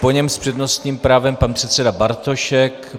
Po něm s přednostním právem pan předseda Bartošek.